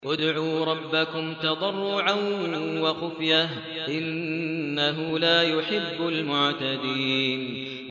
ادْعُوا رَبَّكُمْ تَضَرُّعًا وَخُفْيَةً ۚ إِنَّهُ لَا يُحِبُّ الْمُعْتَدِينَ